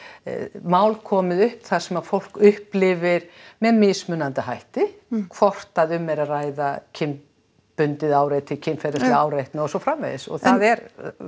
mál komið upp þar sem að fólk upplifir með mismunandi hætti hvort að um er að ræða kynbundið áreiti kynferðislega áreitni og svo framvegis og það er